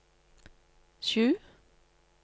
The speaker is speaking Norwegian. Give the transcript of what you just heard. sju